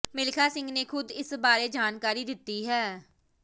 ਮਿਲਖਾ ਸਿੰਘ ਨੇ ਖ਼ੁਦ ਇਸ ਬਾਰੇ ਜਾਣਕਾਰੀ ਦਿੱਤੀ ਹੈ